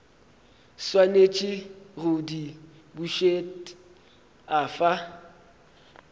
swanetše go di bušet afa